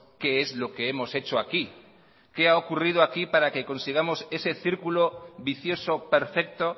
qué es lo que hemos hecho aquí qué ha ocurrido aquí para que consigamos ese círculo vicioso perfecto